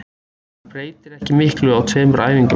Maður breytir ekki miklu á tveimur æfingum.